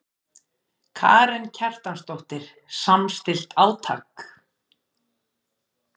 Karen Kjartansdóttir: Samstillt átak?